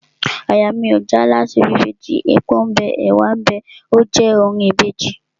Àyà mi ò já láti bí Ìbejì, epo ḿ bẹ, ẹ̀wá ḿ bẹ óò je orin Ìbejì..